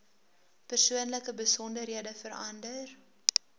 persoonlike besonderhede verander